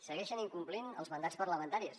segueixen incomplint els mandats parlamentaris